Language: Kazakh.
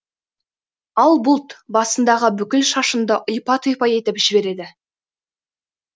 ал бұлт басыңдағы бүкіл шашыңды ұйпа тұйпа етіп жібереді